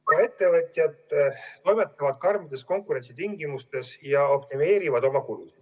Ka ettevõtjad toimetavad karmides konkurentsitingimustes ja optimeerivad oma kulud.